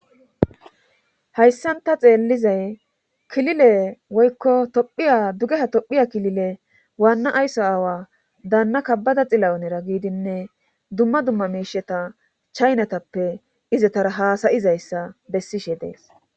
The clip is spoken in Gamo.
Hayssan ta xeellizay kilile woykko tophiya dugeha tophiya kilile waanna aysso aawa daanna kabbada xilawunera giidinne dumma dumma meisheta chaynatappe izetara haasayizayssa bessishe dees.